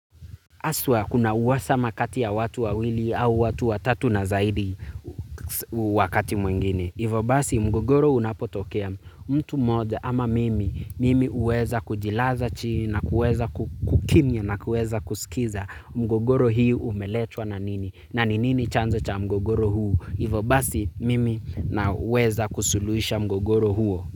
Haswa kuna uhasama kati ya watu wawili au watu watatu na zaidi wakati mwingine. Hivo basi mgogoro unapotokea mtu mmoja ama mimi, mimi huweza kujilaza chini na kuweza kukimya na kuweza kusikiza. Mgogoro hii umeletwa na nini? Na ni nini chanzo cha mgogoro huu? Hivo basi mimi naweza kusuluhisha mgogoro huo.